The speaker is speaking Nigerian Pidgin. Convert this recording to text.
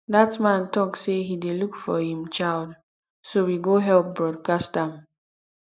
dat man talk say he dey look for im child so we go help broadcast am